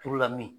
Turula min